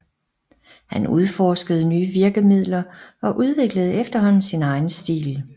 Han udforskede nye virkemidler og udviklede efterhånden sin egen stil